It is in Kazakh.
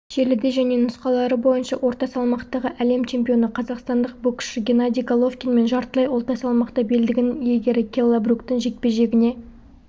желіде және нұсқалары бойынша орта салмақтағы әлем чемпионы қазақстандық боксшы геннадий головкин мен жартылай орта салмақта белдігінің иегері келла бруктың жекпе-жегіне